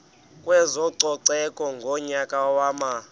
kwezococeko ngonyaka wama